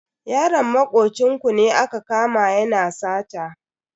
Yaron makocin ku ne aka kama yana sata.